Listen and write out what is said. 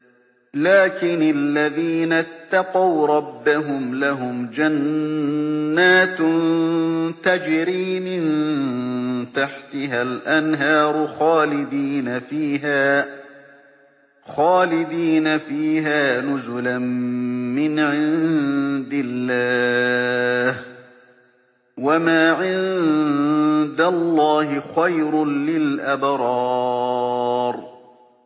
لَٰكِنِ الَّذِينَ اتَّقَوْا رَبَّهُمْ لَهُمْ جَنَّاتٌ تَجْرِي مِن تَحْتِهَا الْأَنْهَارُ خَالِدِينَ فِيهَا نُزُلًا مِّنْ عِندِ اللَّهِ ۗ وَمَا عِندَ اللَّهِ خَيْرٌ لِّلْأَبْرَارِ